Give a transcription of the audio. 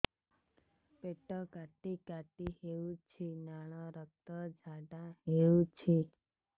ପେଟ କାଟି କାଟି ହେଉଛି ଲାଳ ରକ୍ତ ଝାଡା ହେଉଛି